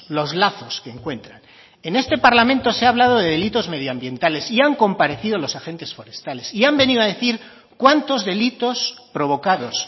los lazos que encuentran en este parlamento se ha hablado de delitos medio ambientales y han comparecido los agentes forestales y han venido a decir cuántos delitos provocados